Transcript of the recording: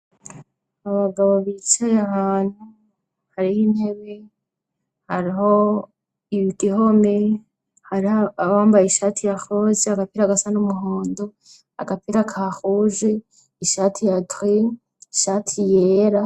Abagabo bicaye ahantu hariho intebe, hariho igihome hariho abambaye ishati ya rose agapira gasa n'umuhondo agapira ka ruje ishati ya giri, ishati yera.